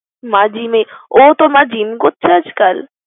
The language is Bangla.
মা gym এ ও তোর মা gym করছে আজ কাল?